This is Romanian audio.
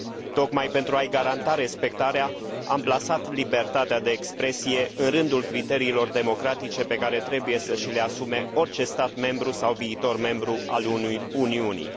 Tocmai pentru a i garanta respectarea, am plasat libertatea de expresie în rândul criteriilor democratice pe care trebuie să și le asume orice stat membru sau viitor membru al Uniunii.